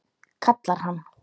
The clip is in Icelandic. kallar hann.